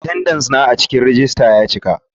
Atendenca na a cikin rejista ya cika.